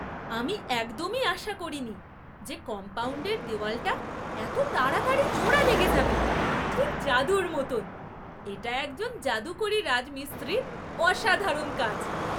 আমি একদমই আশা করিনি যে কম্পাউণ্ডের দেওয়ালটা এত তাড়াতাড়ি জোড়া লেগে যাবে । ঠিক জাদুর মতন! এটা একজন যাদুকরী রাজমিস্ত্রির অসাধারণ কাজ!